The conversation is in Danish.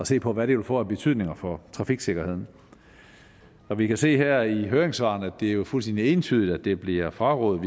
se på hvad det vil få af betydning for trafiksikkerheden vi kan se her i høringssvarene at det er fuldstændig entydigt at det bliver frarådet